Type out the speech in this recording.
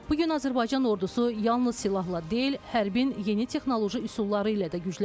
Bu gün Azərbaycan ordusu yalnız silahla deyil, hərbin yeni texnoloji üsulları ilə də güclənir.